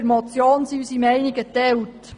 Bei der Motion sind unsere Meinungen geteilt.